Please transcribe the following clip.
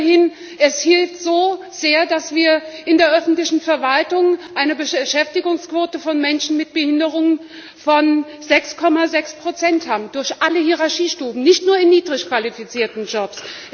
Aber immerhin, es hilft so sehr, dass wir in der öffentlichen Verwaltung eine Beschäftigungsquote von Menschen mit Behinderungen von 6,6 haben, durch alle Hierarchiestufen, nicht nur in niedrig qualifizierten Jobs.